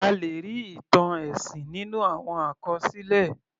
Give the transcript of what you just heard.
A lè rí ìtàn ẹ̀sìn nínú àwọn àkọsílẹ̀.